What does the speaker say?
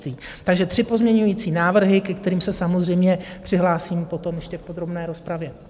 Takže tři pozměňovací návrhy, ke kterým se samozřejmě přihlásím potom ještě v podrobné rozpravě.